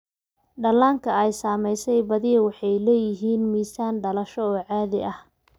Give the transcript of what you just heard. Dhallaanka ay saamaysay badiyaa waxay leeyihiin miisaan dhalasho oo caadi ah.